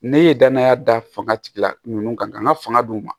Ne ye danaya da fanga tigila ninnu kan ka fanga d'u ma